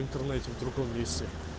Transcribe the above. интернете в другом месте